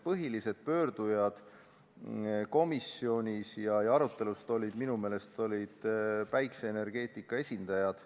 Põhilised pöördujad komisjonis ja arutelus olid minu meelest päikeseenergeetika esindajad.